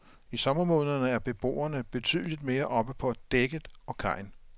I sommermånederne er beboerne betydeligt mere oppe på dækket og kajen.